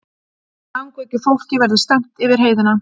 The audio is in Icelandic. Langveiku fólki verði stefnt yfir heiðina